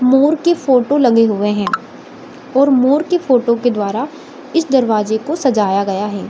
मोर के फोटो लगे हुए हैं और मोर के फोटो के द्वारा इस दरवाजे को सजाया गया है।